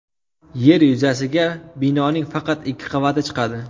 Yer yuzasiga binoning faqat ikki qavati chiqadi.